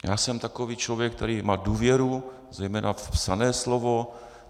Já jsem takový člověk, který má důvěru zejména v psané slovo.